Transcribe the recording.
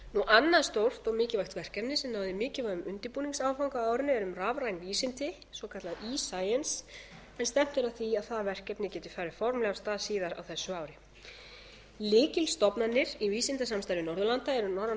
annað stórt og mikilvægt verkefni sem náði mikilvægum undirbúningsáfanga á árinu er um rafræn vísindi svokallað escience en stefnt er að því að það verkefni geti farið formlega fram síðar á þessu ári lykilstofnanir í vísindasamstarfi norðurlanda eru norræna